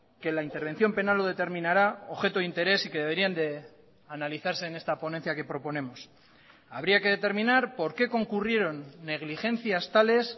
que la intervención penal lo determinará objeto de interés y que deberían de analizarse en esta ponencia que proponemos habría que determinar por qué concurrieron negligencias tales